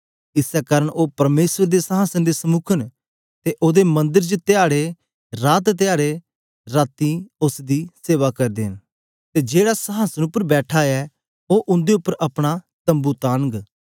इसै कारन ओ परमेसर दे संहासन दे समुक न ते ओदे मंदर च धयारे रात धयारे राती उस्स दी सेवा करदे न ते जेहड़ा संहासन उपर बैठा ऐ ओ उंदे उपर अपना तम्बू तानग